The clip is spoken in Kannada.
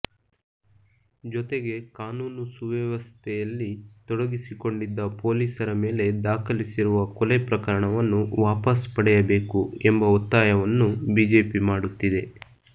ಜೊತೆಗೆ ಕಾನೂನು ಸುವ್ಯವಸ್ಥೆಯಲ್ಲಿ ತೊಡಗಿಸಿಕೊಂಡಿದ್ದ ಪೊಲೀಸರ ಮೇಲೆ ದಾಖಲಿಸಿರುವ ಕೊಲೆ ಪ್ರಕರಣವನ್ನು ವಾಪಸ್ ಪಡೆಯಬೇಕು ಎಂಬ ಒತ್ತಾಯವನ್ನು ಬಿಜೆಪಿ ಮಾಡುತ್ತಿದೆ